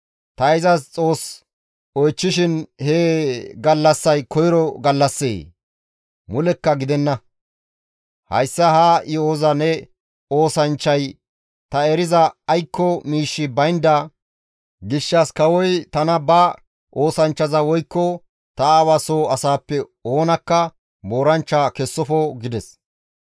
Ta izas Xoos oychchishin he gallassay koyro gallassee? Mulekka gidenna; hayssa ha yo7oza ne oosanchchay ta eriza aykko miishshi baynda gishshas kawoy tana ba oosanchchaza woykko ta aawa soo asaappe oonakka mooranchcha kessofo» gides.